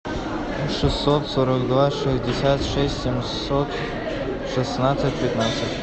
шестьсот сорок два шестьдесят шесть семьсот шестнадцать пятнадцать